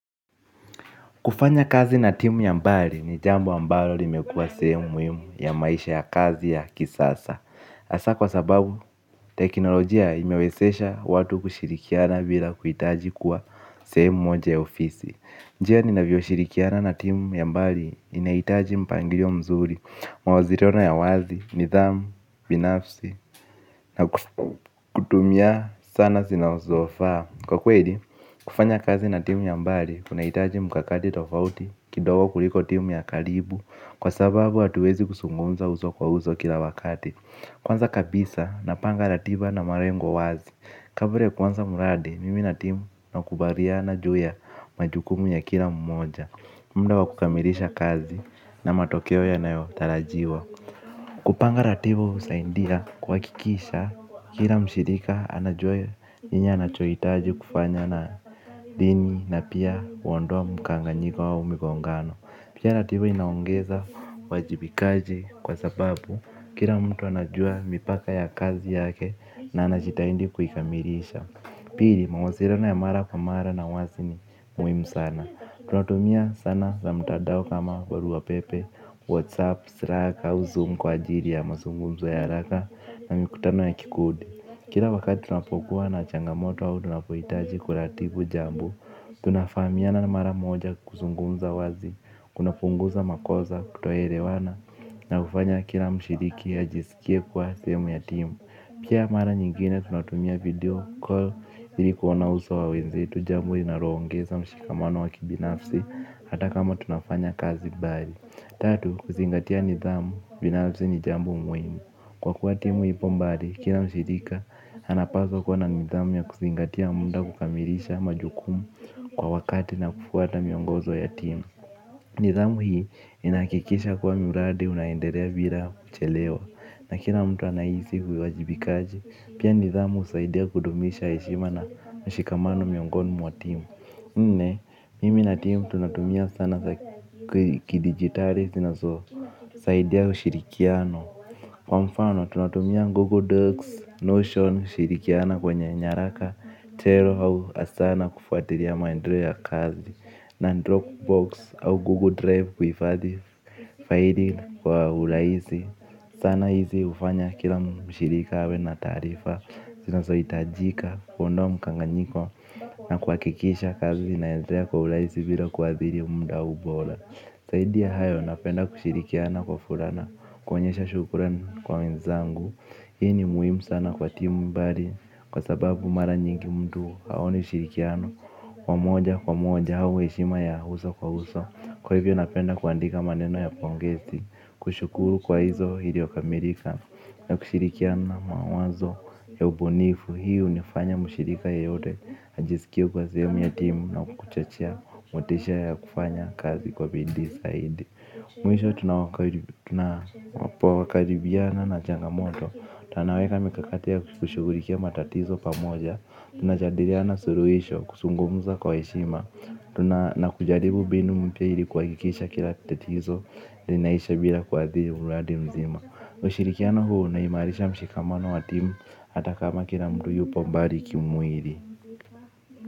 Kufanya kazi na timu ya mbali ni jambo ambalo limekua sehemu muhimu ya maisha ya kazi ya kisasa Asa kwa sababu teknolojia imewezesha watu kushirikiana bila kuhitaji kuwa sehemu moja ya ofisi. Njia ninavyoshirikiana na timu ya mbali inaitaji mpangilio mzuri. Mawasiliana ya wazi, nidhamu, binafsi na kutumia sana zinazofaa. Kwa kweli, kufanya kazi na timu ya mbali, kunahitaji mkakati tofauti, kidogo kuliko timu ya karibu, kwa sababu hatuwezi kuzungumza uso kwa uso kila wakati. Kwanza kabisa, napanga ratiba na malengo wazi, kabla ya kuanza mradi, mimi na timu nakubaliana juu ya majukumu ya kila mmoja. Mda wa kukamilisha kazi na matokeo yanayo tarajiwa. Kupanga ratiba husaidia kuhakikisha kila mshirika anajua njia anachoitaji kufanya na dini na pia uondoa mkanganyiko au migongano. Pia ratiba inaongeza uwajibikaji kwa sababu kila mtu anajua mipaka ya kazi yake na anahitahidi kuikamilisha. Pili mawasiliana ya mara kwa mara na wazi ni muhimu sana. Tunatumia sana za mtandao kama barua pepe, whatsapp, sraka, au zoom kwa ajili ya mazungumzo ya haraka na mikutano ya kikundi. Kila wakati tunapokuwa na changamoto wa tunapohitaji kuratiku jambo. Tunafahamiana mara moja kuzungunza wazi, kunapunguza makosa kutoelewana na hufanya kila mshiriki aisikie kuwa sehemu ya timu. Pia mara nyingine tunatumia video call ili kuona uso wa wenzetu jambo inaloongeza mshikamano wa kibinafsi hata kama tunafanya kazi mbali. Tatu, kuzingatia nidhamu, binafsi ni jambo muimu. Kwa kuwa timu ipo mbari, kina mshirika, anapaswa kuwa na nidhamu ya kuzingatia muda kukamilisha majukumu kwa wakati na kufuata miongozo ya timu. Nidhamu hii inahakikisha kuwa miradi unaendelea bila kuchelewa na kila mtu anahisi huwajibikaji pia nidhamu usaidia kudumisha heshima na na mshikamano miongoni mwa timu nne mimi na timu tunatumia sana kidigitali sinazosaidia ushirikiano. Kwa mfano tunatumia Google Docs, Notion ushirikiana kwenye nyaraka, Terp au asana kufuatiliaa maendeleo ya kazi, na Dropbox au Google Drive kufaidi kwa uraisi. Sana hizi hufanya kila mshirika awe na taarifa zinazohitajika, kuondoa mkanganyiko. Na kunakikisha kazi inaendelea kwa uraisi bila kuadhiri muda huu bora zaidi ya hayo napenda kushirikiana kwa furana. Kuonyesha shukuran kwa wenzangu. Hii ni muhimu sana kwa timu mbali. Kwa sababu mara nyingi mtu haoni ushirikiano. Kwa moja kwa moja au heshima ya uso kwa uso. Kwa hivyo napenda kuandika maneno ya pongesi. Kushukuru kwa hizo iliyokamilika na kushirikiana mawazo ya ubunifu. Hii junifanya mshirika yeyote ajisikie kuwa sehemu ya timu na kuchochea motisha ya kufanya kazi kwa bidii zaidi. Mwisho tunapo karibiana na changamoto. Tunaweka mikakati kushughulikia matatizo pamoja. Tunajadiliana suluhisho kuzungumza kwa heshima. Tuna na kujaribu mbinu mpya ili kuhakikisha kila tatizo. Linaisha bila kuadhiri uradi mzima. Ushirikiano huu unaimaarisha mshikamano wa timu. Ata kama kila mtu yupo mbali kimwili.